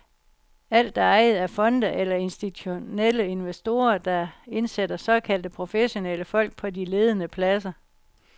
Alt er ejet af fonde eller af institutionelle investorer, der indsætter såkaldte professionelle folk på de ledende pladser.